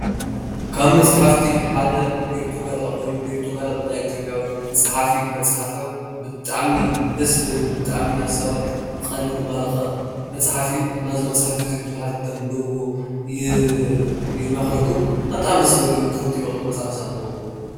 ካብ መፅሓፍቲ ሓደ ቤርቱጋዳ ኮይኑ ቤርቱጋዳ ብናይ ኢትዮጵያዊ ኣፀሕፋ ፀሓፊ ዝተፅሓፈብጣዕሚ ደስ ዝብል ብጣዕሚ ናይ ሰባት ቀልቢ ዝማረከ መፅሓፍ እዩ፡፡ ናይዚ መፅሓፍ እዚ ቡዙሓት ንክተንብብዎ ይመክረኩም፡፡ ንቀፃሊ ደስ ዝብል እዩ እዚ መፅሓፍ ብጣዕሚ ደስ ዝብል እዩ ክትፈትዉዎ ኢኩም እዚ መፅሓፍ ኣንብብዎ፡፡